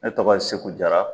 Ne tɔgɔ ye Segu Jara.